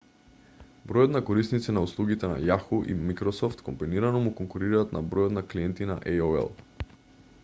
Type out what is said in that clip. бројот на корисници на услугите на yahoo и microsoft комбинирано му конкурираат на бројот на клиенти на aol